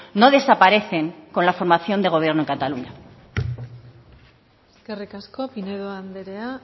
no desaparecen con la formación de gobierno en cataluña eskerrik asko pinedo anderea